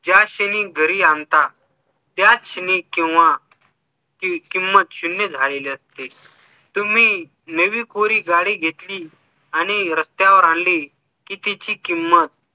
ज्या क्षणी घरी आणता त्याच क्षणी किंवा ती किंमत शून्य झालेली असते तुम्ही नवी कोरी गाडी घेतली आणि रस्त्यावर आणली कि तिची किंमत